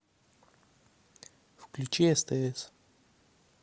включи стс